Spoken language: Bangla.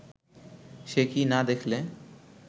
সে কি না দেখলে